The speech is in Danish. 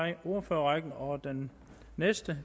i ordførerrækken og den næste